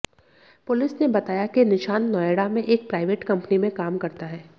police ने बताया कि निशांत नोएडा में एक प्राइवेट कंपनी में काम करता है